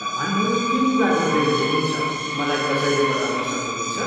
तपाईँहरू के कुरा गर्दै हुनुहुन्छ, मलाई कसैले बताउन सक्नुहुन्छ?